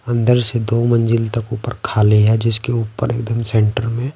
अंदर से दो मंजिल तक ऊपर खाली है जिसके ऊपर एकदम सेंटर में --